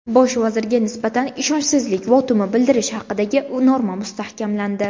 Bosh vazirga nisbatan ishonchsizlik votumi bildirish haqidagi norma mustahkamlandi.